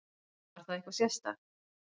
Var það eitthvað sérstakt?